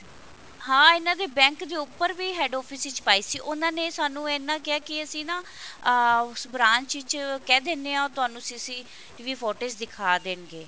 ਹਾਂ ਇਹਨਾ ਦੇ bank ਦੇ ਉੱਪਰ ਵੀ head office ਵਿੱਚ ਪਾਈ ਸੀ ਤੇ ਉਹਨਾ ਨੇ ਸਾਨੂੰ ਇੰਨਾ ਕਿਹਾ ਕਿ ਅਸੀਂ ਨਾ ਅਹ ਉਸ branch ਵਿੱਚ ਕਹਿ ਦਿੰਦੇ ਹਾਂ ਉਹ ਤੁਹਾਨੂੰ CCTV footage ਦਿਖਾ ਦੇਣਗੇ